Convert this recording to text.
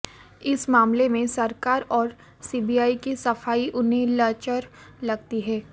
इस मामले में सरकार और सीबीआई की सफाई उन्हें लचर लगती है